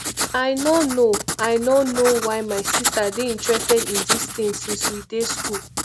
i no know i no know why my sister dey interested in dis thing since we dey school